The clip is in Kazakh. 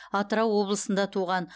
атырау облысында туған